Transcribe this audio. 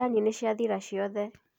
Thani nĩ ciathira ciothe.